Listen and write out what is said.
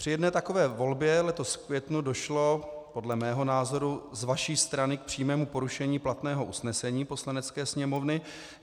Při jedné takové volbě letos v květnu došlo podle mého názoru z vaší strany k přímému porušení platného usnesení Poslanecké sněmovny.